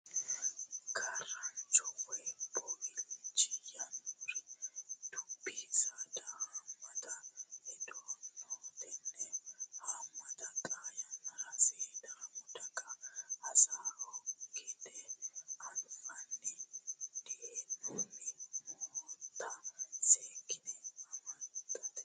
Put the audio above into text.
Gaarancho woyi boowilcho yinanniri dubbu saada haamatta heedhano tene haamata xaa yannara sidaami giddo basho gede anfanni dihe'noninna nootta seekkine amaxate.